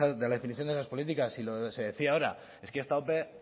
de la definición de esas políticas si se decía ahora es que esta ope